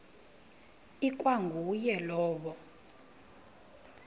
ikwa nguye lowo